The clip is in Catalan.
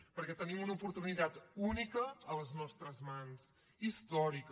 perquè tenim una oportunitat única a les nostres mans històrica